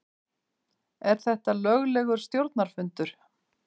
Er þetta löglegur stjórnarfundur?